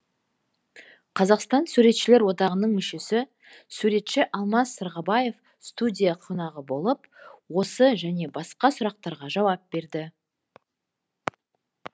қазақстан суретшілер одағының мүшесі суретші алмас сырғабаев студия қонағы болып осы және басқа сұрақтарға жауап берді